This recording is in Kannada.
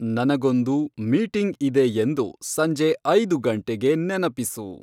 ನನಗೊಂದು ಮೀಟಿಂಗ್ ಇದೆ ಎಂದು ಸಂಜೆ ಐದು ಗಂಟೆಗೆ ನೆನಪಿಸು